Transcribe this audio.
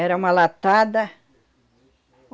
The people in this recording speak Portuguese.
Era uma latada.